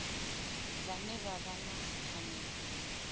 vhane vha vha na pfanelo